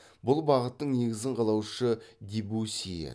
бұл бағыттың негізін қалаушы дебюсси еді